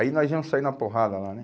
Aí nós íamos sair na porrada lá, né?